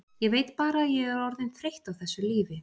Ég veit bara að ég er orðin þreytt á þessu lífi.